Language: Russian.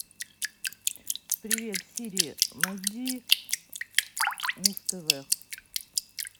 привет сири найди муз тв